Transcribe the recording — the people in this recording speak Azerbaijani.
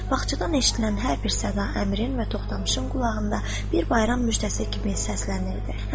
Bağçadan eşidilən hər bir səda əmirin və Toxdamışın qulağında bir bayram müjdəsi kimi səslənirdi.